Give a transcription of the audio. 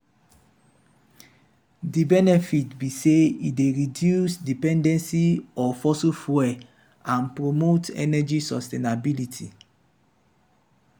di benefit be say e dey reduce dependence of fossil fuels and promote energy sustainability.